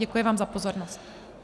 Děkuji vám za pozornost.